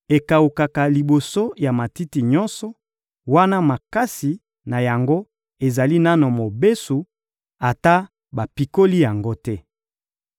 Ekawukaka liboso ya matiti nyonso, wana makasa na yango ezali nanu mobesu, ata bapikoli yango te.